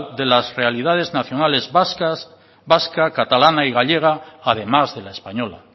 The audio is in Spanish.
de las realidades nacionales vasca catalana y gallega además de la española